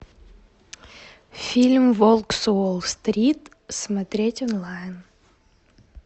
фильм волк с уолл стрит смотреть онлайн